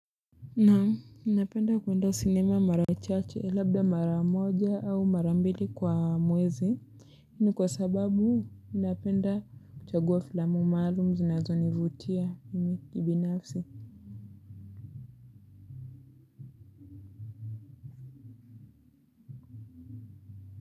Naamu napenda kwenda cinema mara chache labda mara moja au mara mbili kwa mwezi ni kwa sababu napenda kuchagua filamu maalum zinazo nivutia mimi kibinafsi.